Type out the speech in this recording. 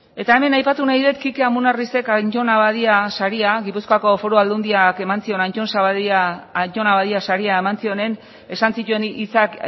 eta hemen aipatu nahi dut kike amonarrizek anton abadia saria gipuzkoa foru aldundiak eman ziona anton abadia saria eman zionean esan zituen hitzak